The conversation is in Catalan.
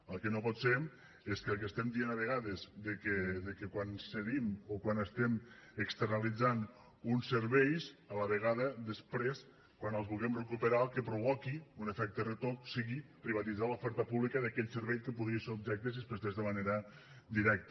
el que no pot ser és que el que estem dient a vegades de que quan cedim o quan estem externalitzant uns serveis a la vegada després quan els vulguem recuperar el que provoqui un efecte retoc sigui privatitzar l’oferta pública d’aquell servei que podria ser objecte si es prestés de manera directa